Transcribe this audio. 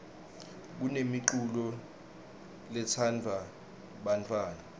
kunemiculo letsandvwa bantfwana